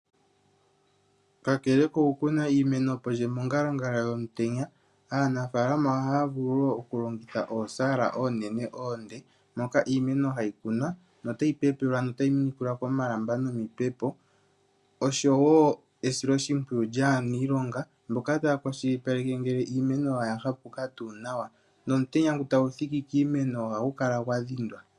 Kakele kokukuna iimeno pondje nomongalangala yomutenya aanafaalama ohaya vulu wo okulongitha oosaala oonene oonde, moka iimeno hayi kunwa notayi pepelwa notayi minikilwa komalamba nomipepo, osho wo esiloshimpwiyu lyaaniilonga mboka taya kwashilipaleke ngele iimeno oya hapuka tuu nawa nomutenya ngu tagu thiki kiimeno ohagu kala gwa dhindwa.